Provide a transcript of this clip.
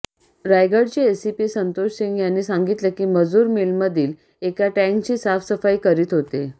रायगढचे SP Santosh Singh यांनी सांगितले की मजूर मिलमधील एका टँकची साफसफाई करीत होते